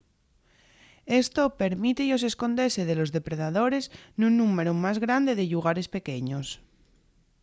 esto permíte-yos escondese de los depredadores nun númberu más grande de llugares pequeños